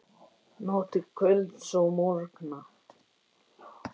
Hverju eiga þeir að svara?